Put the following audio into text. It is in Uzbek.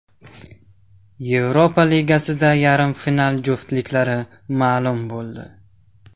Yevropa Ligasida yarim final juftliklari ma’lum bo‘ldi !